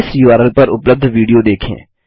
इस उर्ल पर उपलब्ध विडियो देखें